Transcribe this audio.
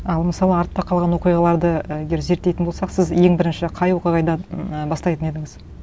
ал мысалы артта қалған оқиғаларды і егер зерттейтін болсақ сіз ең бірінші қай оқиғадан м бастайтын едіңіз